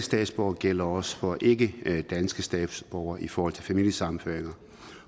statsborgere gælder også for det ikkedanske statsborgere i forhold til familiesammenføringer